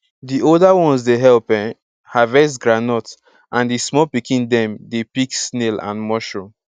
the older ones dey help um harvest groundnut and the small pikin dem dey pick snail and mushroom